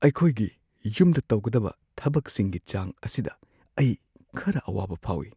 ꯑꯩꯈꯣꯏꯒꯤ ꯌꯨꯝꯗ ꯇꯧꯒꯗꯕ ꯊꯕꯛꯁꯤꯡꯒꯤ ꯆꯥꯡ ꯑꯁꯤꯗ ꯑꯩ ꯈꯔ ꯑꯋꯥꯕ ꯐꯥꯎꯏ ꯫